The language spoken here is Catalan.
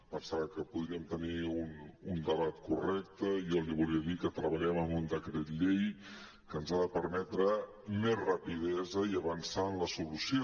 pensava que podríem tenir un debat correcte jo li volia dir que treballem en un decret llei que ens ha de permetre més rapidesa i avançar en la solució